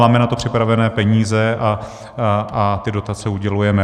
Máme na to připravené peníze a ty dotace udělujeme.